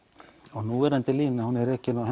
og núverandi lína er ekki nema á